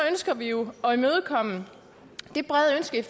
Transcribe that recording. ønsker vi jo at imødekomme det brede ønske